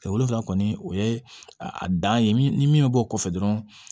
Wolonfila kɔni o ye a dan ye min ni min bɛ bɔ o kɔfɛ dɔrɔn